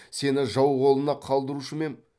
сені жау қолына қалдырушы ма ем